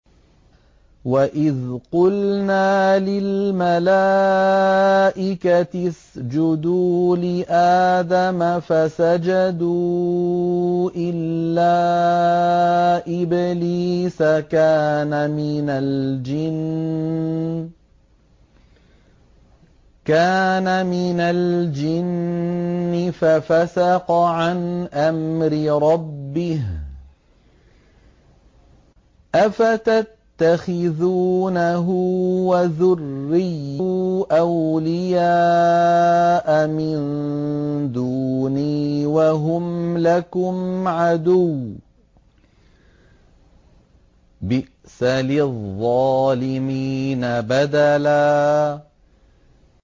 وَإِذْ قُلْنَا لِلْمَلَائِكَةِ اسْجُدُوا لِآدَمَ فَسَجَدُوا إِلَّا إِبْلِيسَ كَانَ مِنَ الْجِنِّ فَفَسَقَ عَنْ أَمْرِ رَبِّهِ ۗ أَفَتَتَّخِذُونَهُ وَذُرِّيَّتَهُ أَوْلِيَاءَ مِن دُونِي وَهُمْ لَكُمْ عَدُوٌّ ۚ بِئْسَ لِلظَّالِمِينَ بَدَلًا